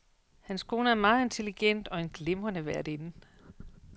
Hans kone er meget intelligent og en glimrende værtinde.